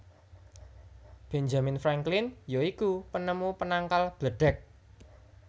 Benjamin Franklin ya iku penemu penangkal bledheg